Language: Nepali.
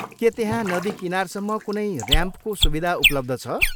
के त्यहाँ नदी किनारसम्म कुनै ऱ्याम्पको सुविधा उपलब्ध छ?